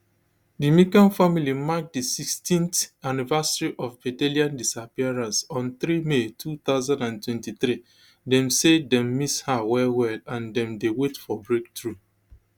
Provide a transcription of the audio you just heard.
di mccann family mark di sixteenth anniversary of madeleine disappearance on three may two thousand and twenty-three dem say dem miss her well well and dem dey wait for breakthrough